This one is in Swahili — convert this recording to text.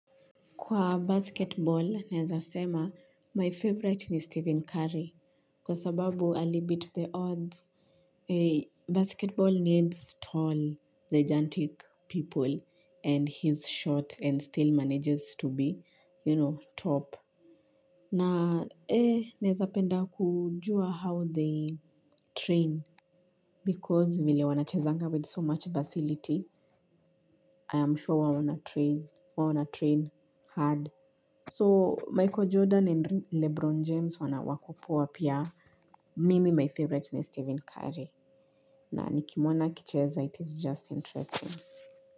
Kwa basketball, naezasema, my favorite ni Stephen Curry kwa sababu alibeat the odds. Basketball needs tall, gigantic people and he's short and still manages to be, you know, top. Na, naezapenda kujua how they train. Because vile wanachezanga with so much facility, I am sure huwa wanatrain hard. So michael jordan and lebron james wanawakopoa pia mimi my favorite ni steven curry na nikimuona akicheza it is just interesting.